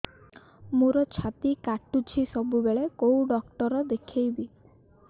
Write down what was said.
ମୋର ଛାତି କଟୁଛି ସବୁବେଳେ କୋଉ ଡକ୍ଟର ଦେଖେବି